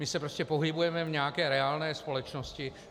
My se prostě pohybujeme v nějaké reálné společnosti.